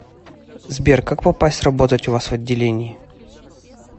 сбер как попасть работать у вас в отделении